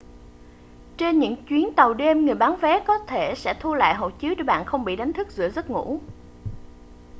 trên những chuyến tàu đêm người bán vé có thể sẽ thu lại hộ chiếu để bạn không bị đánh thức giữa giấc ngủ